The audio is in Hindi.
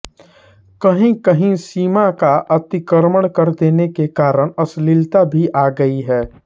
कहीं कहीं सीमा का अतिक्रमण कर देने के कारण अश्लीलता भी आ गई है